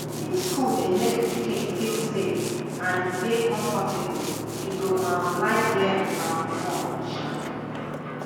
if school dey make pikin feel safe and e dey comfortable e go um like learn um more um